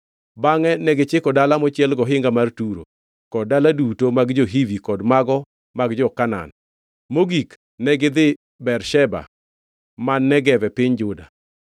Bangʼe negichiko dala mochiel gohinga mar Turo kod dala duto mag jo-Hivi kod mago mag jo-Kanaan. Mogik, negidhi Bersheba man Negev e piny Juda.